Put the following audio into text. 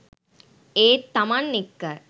ඒත් තමන් එක්ක